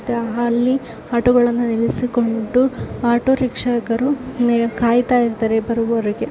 ಅಲ್ಲಿ ಆಟೋ ಗಳನ್ನು ನಿಲ್ಲಿಸಿಕೊಂಡು ಆಟೋ ರೀಕ್ಷಕರು ಕಾಯುತ್ತಾ ಇರುತ್ತಾರೆ ಬರುವರಿಗೆ.